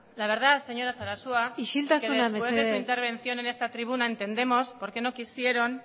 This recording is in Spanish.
la verdad señora sarasua isiltasuna mesedez que después de su intervención en esta tribuna entendemos porque no quisieron